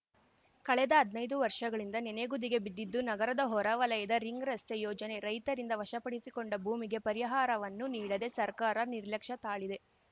ಕಳೆದ ಹದ್ನೈದು ವರ್ಷಗಳಿಂದ ನೆನೆಗುದಿಗೆ ಬಿದ್ದಿದ್ದು ನಗರದ ಹೊರವಲಯದ ರಿಂಗ್ ರಸ್ತೆ ಯೋಜನೆ ರೈತರಿಂದ ವಶಪಡಿಸಿಕೊಂಡ ಭೂಮಿಗೆ ಪರಿಹಾರವನ್ನು ನೀಡದೆ ಸರಕಾರ ನಿರ್ಲಕ್ಷ್ಯ ತಾಳಿದೆ